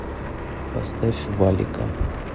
поставь валика